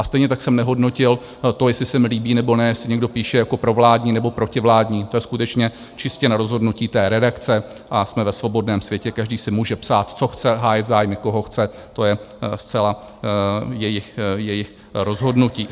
A stejně tak jsem nehodnotil to, jestli se mi líbí nebo ne, jestli někdo píše jako provládní nebo protivládní, to je skutečně čistě na rozhodnutí té redakce a jsme ve svobodném světě, každý si může psát, co chce, hájit zájmy, koho chce, to je zcela jejich rozhodnutí.